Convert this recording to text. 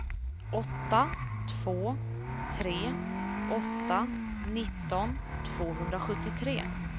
åtta två tre åtta nitton tvåhundrasjuttiotre